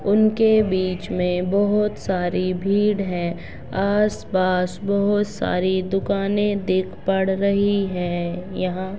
उनके बीच मे बहुत सारी भीड़ है आस-पास बहुत सारी दुकाने दिख पड़ रही है यहाँ--